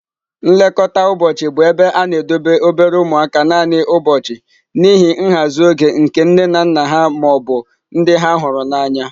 Nlekọta ụbọchị bụ ebe a na-edobe obere ụmụaka naanị ụbọchị n'ihi nhazi oge nke nne na nna ha ma ọ bụ ndị ha hụrụ n'anya.